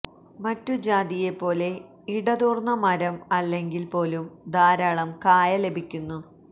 മറ്റു ജാതിയെപ്പോലെ ഇടതൂർന്ന മരം അല്ലെങ്കിൽ പോലും ധാരാളം കായ ലഭിക്കുന്നു